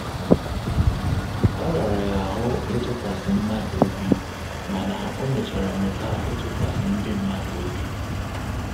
O rara ya ahụ ịtụkwasị mmadụ obi mana ọ mechara mụta ịtụkwasị ndị mmadụ obi